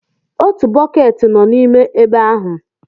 Otu bọket nọ n'ime ebe ahụ.